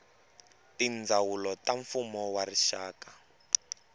tindzawulo ta mfumo wa rixaka